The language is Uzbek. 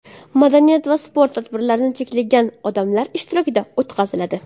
Madaniy va sport tadbirlari cheklangan odamlar ishtirokida o‘tkaziladi.